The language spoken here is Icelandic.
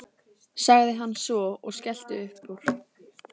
sagði hann svo og skellti upp úr.